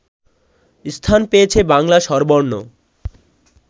স্থান পেয়েছে বাংলা স্বরবর্ণ